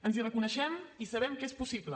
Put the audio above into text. ens hi reconeixem i sabem que és possible